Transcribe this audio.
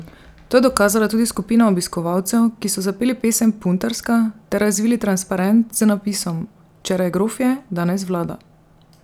To je dokazala tudi skupina obiskovalcev, ki so zapeli pesem Puntarska ter razvili transparent z napisom: "Včeraj grofje, danes vlada!